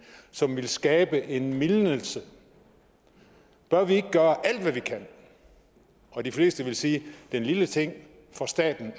som ville skabe en mildnelse bør vi ikke gøre alt hvad vi kan og de fleste ville sige at en lille ting for staten